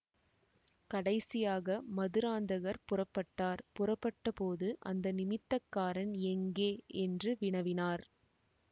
கடைசியாக மதுராந்தகர் புறப்பட்டார் புறப்பட்டபோது அந்த நிமித்தக்காரன் எங்கே என்று வினவினார்